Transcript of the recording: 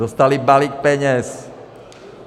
Dostali balík peněz.